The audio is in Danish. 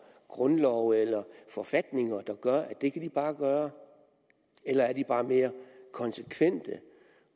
grundlove eller forfatninger der gør at det kan de bare gøre eller er de bare mere konsekvente